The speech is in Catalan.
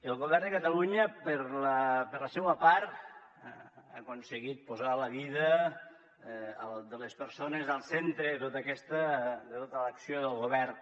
el govern de catalunya per la seua part ha aconseguit posar la vida de les persones al centre de tota l’acció del govern